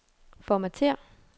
formatér